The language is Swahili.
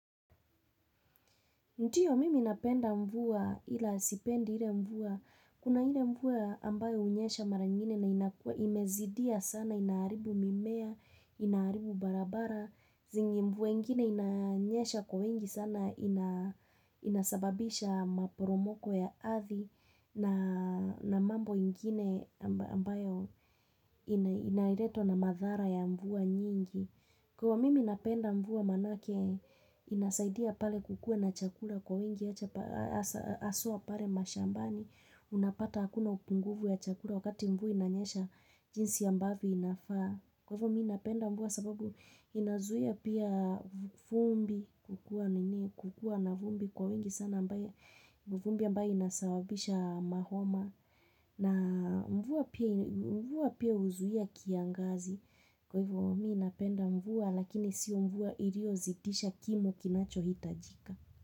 Ntiyo mimi napenda mvua ila sipendi ile mvua, kuna ile mvua ambayo hunyesha mara ingine na inakua imezidia sana, inaharibu mimea, inaharibu barabara, zingi mvua ingine inanyesha kwa wingi sana inasababisha maporomoko ya adhi na mambo ingine ambayo inairetwa na madhara ya mvua nyingi. Kwaio mimi napenda mvua manake inasaidia pale kukuwe na chakula kwa wingi aswa pare mashambani. Unapata hakuna upunguvu ya chakula wakati mvua inanyesha jinsi ambavyo inafaa. Kwaivo mimi inapenda mvua sababu inazuia pia vumbi kukua na vumbi kwa wingi sana ambae inasababisha mahoma. Na mvua pia huzuia kiangazi kwa hivyo mmi napenda mvua lakini sio mvua iriozitisha kimo kinachohitajika.